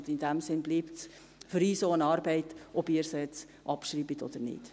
In diesem Sinne bleibt es für uns auch eine Arbeit, ob Sie es nun abschreiben oder nicht.